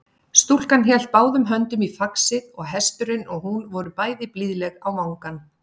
Stúlkan hélt báðum höndum í faxið og hesturinn og hún voru bæði blíðleg á vangann.